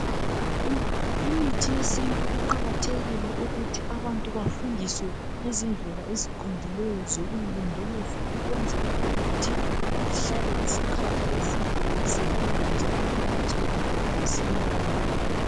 Imithi yesintu kuqakathekile ukuthi abantu bafundiswe ngezindlela eziqondileyo zokuyilondoloza ukwenzela ukuthi ihlale isikhathi eside isebenza njalo ingatshabalali masinyane.